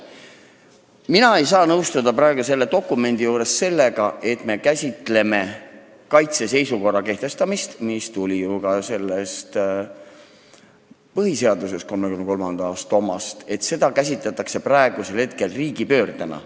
Mina ei saa selle otsuse puhul nõustuda sellega, et me käsitleme kaitseseisukorra kehtestamist, mis tuli ju 1934. aastal jõustunud põhiseadusest, praegu riigipöördena.